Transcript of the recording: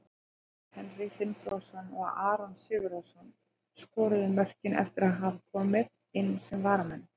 Kjartan Henry Finnbogason og Aron Sigurðarson skoruðu mörkin eftir að hafa komið inn sem varamenn.